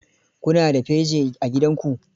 Ku na da firji a gidanku?